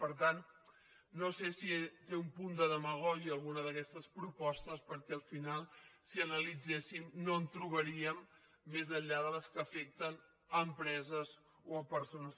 per tant no sé si té un punt de demagògia alguna d’aquestes propostes perquè al final si analitzéssim no en trobaríem més enllà de les que afecten a empreses o persones